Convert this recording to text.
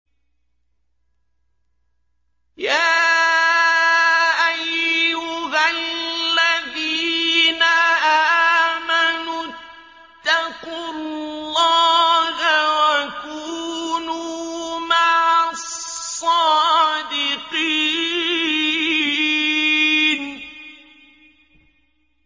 يَا أَيُّهَا الَّذِينَ آمَنُوا اتَّقُوا اللَّهَ وَكُونُوا مَعَ الصَّادِقِينَ